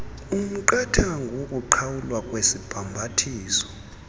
umqathango wokuqhawulwa kwesibhambathiso